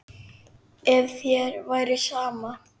Ef þér væri sama.